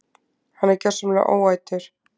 Hann er gjörsamlega óætur!